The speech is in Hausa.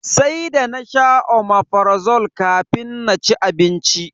Sai da nasha Omeprazole kafin na ci abinci.